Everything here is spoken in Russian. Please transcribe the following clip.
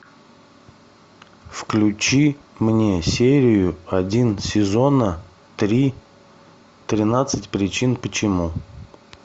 включи мне серию один сезона три тринадцать причин почему